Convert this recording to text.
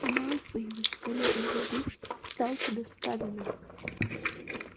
малфой высокомерно улыбнувшись встал куда сказано